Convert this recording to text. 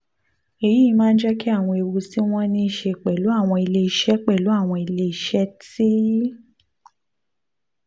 èyí máa ń jẹ́ kí àwọn ewu tí wọ́n ní í ṣe pẹ̀lú àwọn iléeṣẹ́ pẹ̀lú àwọn iléeṣẹ́ tí